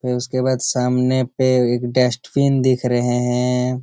उसके बाद सामने पर एक डस्टबिन दिख रहे है।